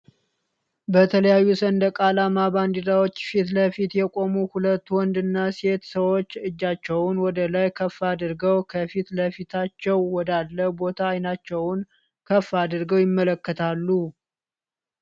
በተለያዩ ሰንደቅ አላማ ባንዲራዎች ፊትለፊት የቆሙ ሁለት ወንድ እና ሴት ሰዎች እጃቸውን ወደላይ ከፍ አድርገው ከፊት ለፊታቸው ወዳለ ቦታ አይናቸውን ከፍ አድርገው ይመለከታሉ።